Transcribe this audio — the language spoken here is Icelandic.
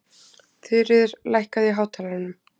Þuríður, lækkaðu í hátalaranum.